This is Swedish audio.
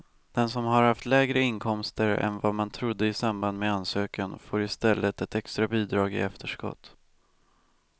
Den som har haft lägre inkomster än vad man trodde i samband med ansökan får i stället ett extra bidrag i efterskott.